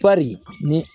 Pɔri ni